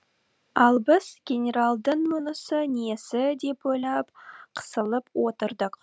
ал біз генералдың мұнысы несі деп ойлап қысылып отырдық